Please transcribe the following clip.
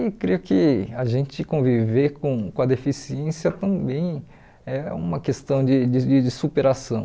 E creio que a gente conviver com com a deficiência também é uma questão de de e de superação.